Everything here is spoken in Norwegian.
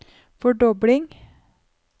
fordobling